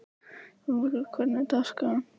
Sólbergur, hvernig er dagskráin?